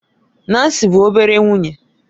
Nancy bụ obere nwunye